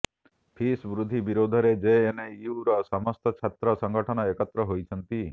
fees ବୃଦ୍ଧି ବିରୋଧରେ ଜେଏନୟୁର ସମସ୍ତ ଛାତ୍ର ସଙ୍ଗଠନ ଏକତ୍ର ହୋଇଛନ୍ତି